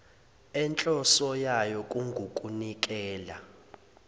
enhloso yayo kungukunikela